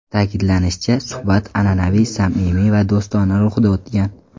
Ta’kidlanishicha, suhbat an’anaviy samimiy va do‘stona ruhda o‘tgan.